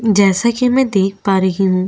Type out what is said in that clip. जैसा की में देख पा रही हूँ।